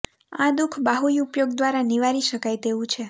આ દુઃખ બાહુય ઉપયોગ દ્વારા નિવારી શકાય તેવું છે